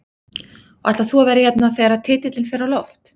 Og ætlar þú að vera hérna þegar titilinn fer á loft?